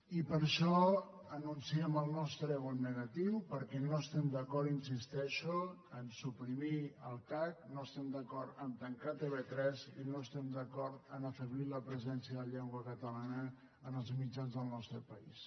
i per això anunciem el nostre vot negatiu perquè no estem d’acord hi insisteixo a suprimir el cac no estem d’acord a tancar tv3 i no estem d’acord a afeblir la presència de la llengua catalana en els mitjans del nostre país